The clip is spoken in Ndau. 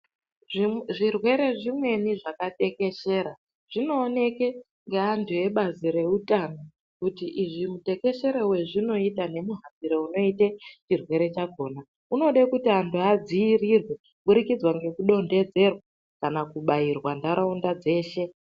Zvirwere zvimweni zvakatekeshera zvinooneke ngeantu ebazi reutano. Kuti izvi mutekeshere vezvinota nemuhambiro unote chirwere chakona. Unode kuti antu adzirirwe kubudikidza ngekudonhedzerwa kana kubairwa ntaraunda dzeshe.